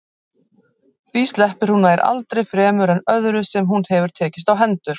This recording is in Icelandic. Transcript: Því sleppir hún nær aldrei fremur en öðru sem hún hefur tekist á hendur.